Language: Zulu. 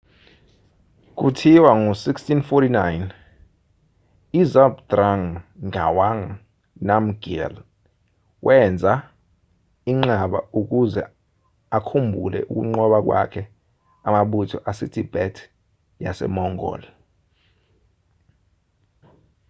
kuthiwa ngo-1649 uzhabdrung ngawang namgyel wenza inqaba ukuze akhumbule ukunqoba kwakhe amabutho asetibet yasemongol